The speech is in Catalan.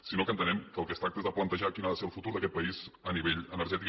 sinó que entenem que del que es tracta és de plantejar quin ha de ser el futur d’aquest país a nivell energètic